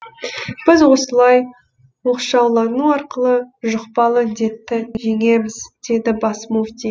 біз осылай оқшаулану арқылы жұқпалы індетті жеңеміз деді бас мүфти